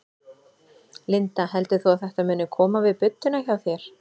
Linda: Heldur þú að þetta muni koma við budduna hjá þér?